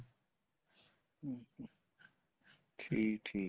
ਠੀਕ ਠੀਕ